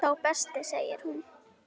Sá besti segir hún.